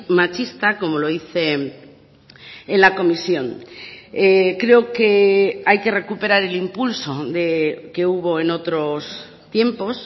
machista como lo hice en la comisión creo que hay que recuperar el impulso que hubo en otros tiempos